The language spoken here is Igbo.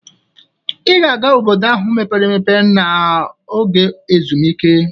Ị ga-aga Obodo ahụ mepere emepe n'oge ezumike.